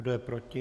Kdo je proti?